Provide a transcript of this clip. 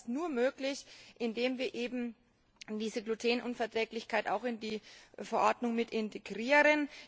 Das ist nur möglich, indem wir eben diese Glutenunverträglichkeit in die Verordnung integrieren.